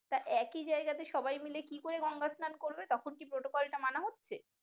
তা একই জায়গায় তে সবাই মিলে কি করে গঙ্গা স্লান করবে তখন কি protocol মানা হচ্ছে?